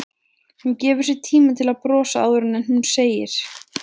Hún gefur sér tíma til að brosa áður en hún segir